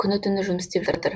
күні түні жұмыс істеп жатыр